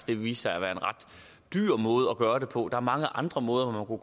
vil vise sig at være en ret dyr måde at gøre det på der er mange andre måder hvorpå